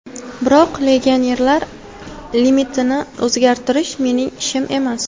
Biroq legionerlar limitini o‘zgartirish mening ishim emas.